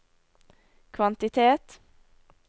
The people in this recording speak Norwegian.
kvantitet